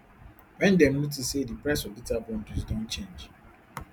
wen dem notice say di price of data bundles don change